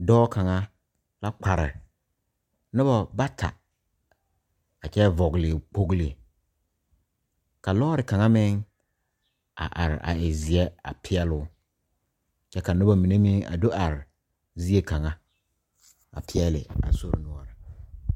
Dɔɔ kaŋa a kpare nobɔ bata a kyɛ vɔgle kpogle ka lɔɔre kaŋa meŋ a are a e zeɛ a peɛɛloo kyɛ ka nobɔ mine meŋ a do are zie kaŋa a peɛɛle.